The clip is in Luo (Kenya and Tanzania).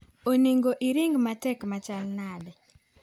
Onego iring matek machal nade?